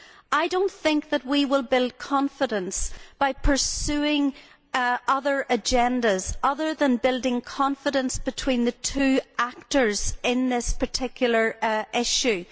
I do not think we will build confidence by pursuing agendas other than building confidence between the two actors in this particular issue.